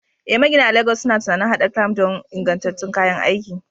Eh, magina a Legas suna tunanin haɗa clamp don ingantattun kayan aiki.